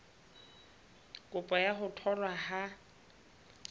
kopo ya ho tholwa ha